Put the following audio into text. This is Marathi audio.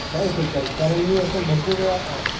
नाही इफेक्ट करत कारण मी असं भरपूर वेळा अ,